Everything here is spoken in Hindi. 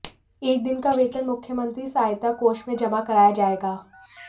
एक दिन का वेतन मुख्यमंत्री सहायता कोष में जमा कराया जाएगा